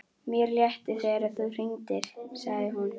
Mér létti þegar þú hringdir, sagði hún.